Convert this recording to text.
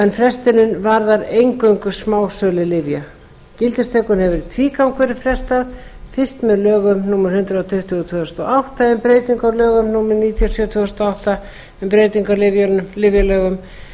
en frestunin varðar eingöngu smásölu lyfja gildistökunni hefur í tvígang verið frestað fyrst með lögum númer hundrað tuttugu tvö þúsund og átta en breytingu á lögum númer níutíu og sjö tvö þúsund og átta um breytingu á lyfjalögum